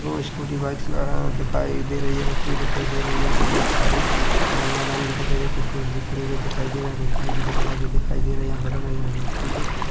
scooty bikes वगेरा दिखाई दे रही है रखी हुई दिखाई दे रही है यहाँ पे बोहत सारी अ मैदान भी दिखाई दे-- कुछ पुरुष भी खड़े हुए दिखाई दे रहे है कुछ टंकी वगेरा भी दिखाई दे रहे ऐसा लग रहा है यहाँ